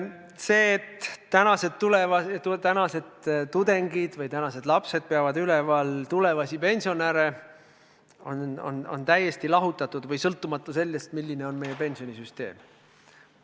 See, et tänased tudengid või tänased lapsed peavad üleval pidama tulevasi pensionäre, on täiesti lahutatud või sõltumatu sellest, milline on meie pensionisüsteem.